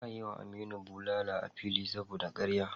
Za a yi wa Aminu bulala a fili saboda karya.